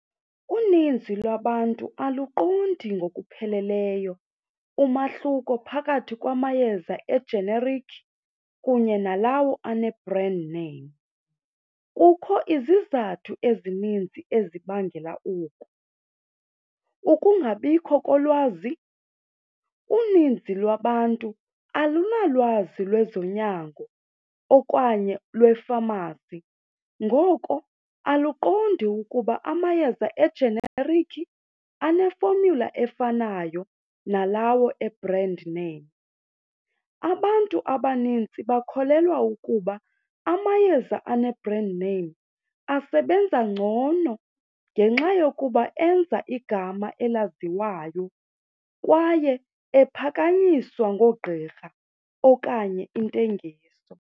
Uninzi lwabantu aluqondi ngokupheleleyo umahluko phakathi kwamayeza ejenerikhi kunye nalawo ane-brand name. Kukho izizathu ezininzi ezibangela oku, ukungabikho kolwazi. Uninzi lwabantu alunalwazi lwezonyango okanye lwefamasi ngoko uluqondi ukuba amayeza ejenerikhi ane-formula efanayo nalawo e-brand name. Abantu abanintsi bakholelwa ukuba amayeza ane-brand name asebenza ngcono ngenxa yokuba enza igama elaziwayo kwaye ephakanyiswa ngoogqirha okanye intengiso.